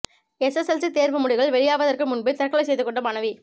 SSLC தேர்வு முடிவுகள் வெளியாவதற்கு முன்பே தற்கொலை செய்து கொண்ட மாணவி